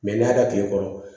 n'i y'a tigɛ kɔrɔ